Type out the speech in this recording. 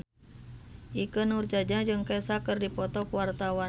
Ikke Nurjanah jeung Kesha keur dipoto ku wartawan